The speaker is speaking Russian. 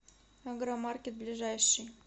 агромаркет ближайший